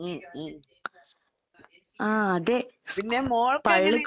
ഉം, ഉം. പിന്നെ മോൾക്കങ്ങനെ